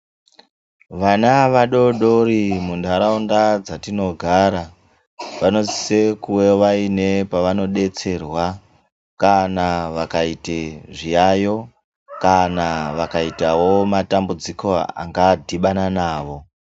Vana vadodori muntaraunda dzatinogara vanosise kuwe vaine pavanodetserwa kana vakaite zviyayo kana vangaitawo matambudziko angadhibana nawo.